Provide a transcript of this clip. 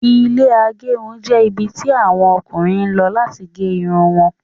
Ilẹ́ agerun jẹ́ ibi tí àwọn Ọkùnrin lọ láti gé Irun wọn